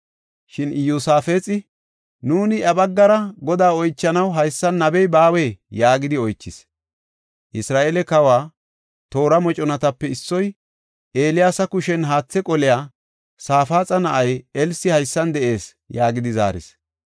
Shin Iyosaafexi, “Nuuni iya baggara Godaa oychanaw haysan nabey baawee?” yaagidi oychis. Isra7eele kawa toora moconatape issoy, “Eeliyaasa kushen haathe qoliya Safaaxa na7ay Elsi haysan de7ees” yaagidi zaaris.